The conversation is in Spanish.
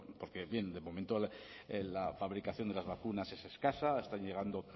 porque bien de momento la fabricación de las vacunas es escasa están llegando